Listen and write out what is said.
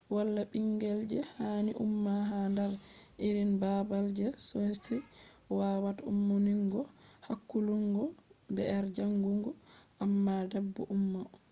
wala bingel je hani umma ha dar irin babal je be wawata ummungo hakkulungo br jangungo amma bedo umma